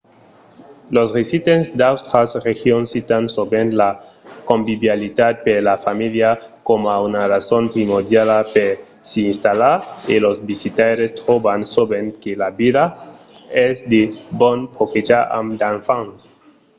los residents d'autras regions citan sovent la convivialitat per la familha coma una rason primordiala per s'i installar e los visitaires tròban sovent que la vila es de bon profechar amb d'enfants